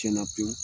Tiɲɛna pewu